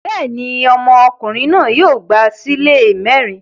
Bẹ́ẹ̀ ni, ọmọkùnrin náà yóò gba ṣílè mẹ́rin.